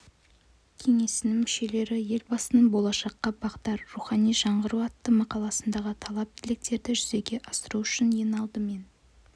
кеңесінің мүшелері елбасының болашаққа бағдар рухани жаңғыру атты мақаласындағы талап-тілектерді жүзеге асыру үшін ең алдымен